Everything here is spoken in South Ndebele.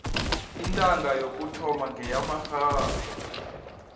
intanga yokuthoma ngeyamarhasa